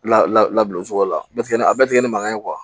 La labilacogo la bɛɛ tɛ kɛ a bɛɛ tɛ kɛ ni mankan ye